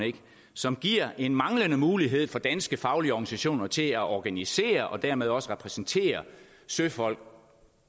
som giver en manglende mulighed for danske faglige organisationer til at organisere og dermed også repræsentere søfolk